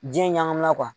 Diɲɛ ɲamina